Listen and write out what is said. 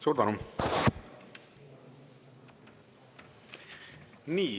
Suur tänu!